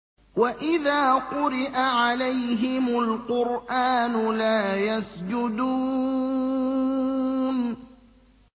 وَإِذَا قُرِئَ عَلَيْهِمُ الْقُرْآنُ لَا يَسْجُدُونَ ۩